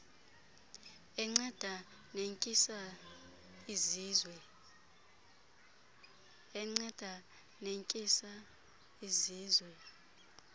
enceda netyisa izizwe